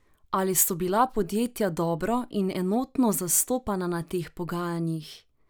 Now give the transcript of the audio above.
Ali so bila podjetja dobro in enotno zastopana na teh pogajanjih?